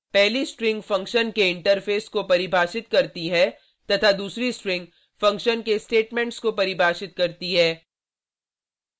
पहली string function के interface को परिभाषित करती है तथा दूसरी स्ट्रिंग फंक्शन के स्टेटमेंट्स को परिभाषित करती है